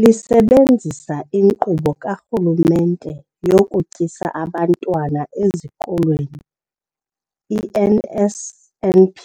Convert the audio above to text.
Lisebenzisa iNkqubo kaRhulumente yokuTyisa Abantwana Ezikolweni, i-NSNP,